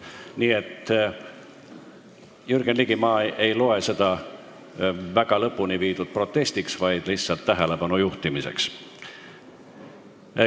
Nii et, Jürgen Ligi, ma ei loe seda päris lõpuni protestiks, vaid lihtsalt tähelepanu juhtimiseks.